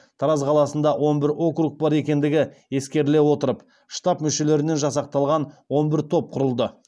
тараз қаласында он бір округ бар екендігі ескеріле отырып штаб мүшелерінен жасақталған он бір топ құрылды